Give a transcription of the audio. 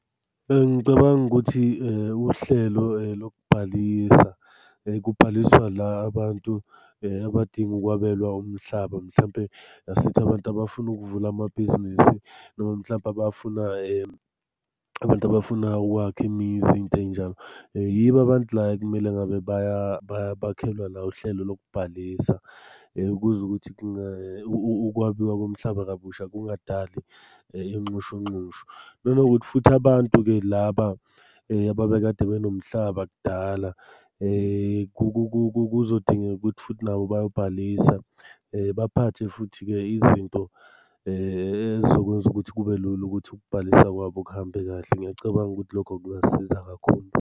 Bengicabanga ukuthi uhlelo lokubhalisa kubhaliswa la abantu abadinga ukwabelwa umhlaba mhlampe asithi abantu abafuna ukuvula amabhizinesi noma mhlampe abafuna , abantu abafuna ukwakha imizi, iy'nto ey'njalo. Yibo abantu la ekumele ngabe bakhelwa la uhlelo lokubhalisa kuze ukuthi ukwabiwa komhlaba kabusha kungadali inxushunxushu. Nanokuthi futhi abantu-ke laba ababekade benomhlaba kudala, kuzodingeka ukuthi futhi nabo bayobhalisa. Baphathe futhi-ke izinto ey'zokwenza ukuthi kube lula ukuthi ukubhalisa kwabo kuhambe kahle. Ngiyacabanga ukuthi lokho kungasiza kakhulu.